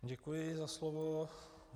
Děkuji za slovo.